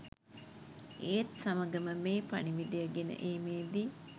ඒත් සමගම මේ පණිවුඩය ගෙන ඒමේදී